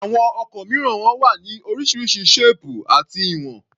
Àwọn ọkọ̀ mìíràn wọn wá ní oríṣiríṣi ṣéèpù àti ìwọn.